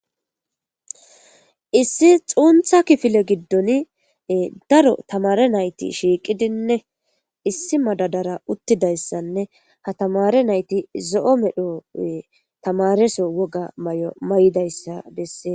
Issi xuuntha kifile giddon daro tamare nayti shiiqidinne issi madadara uttida issanne ha tamare nayti zo'o medho tamareso woga mayo mayida issa bessees.